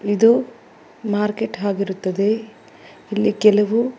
ಇದು ಮಾರ್ಕೆಟ್ ಆಗಿರುತ್ತದೆ ಇಲ್ಲಿ ಕೆಲವು.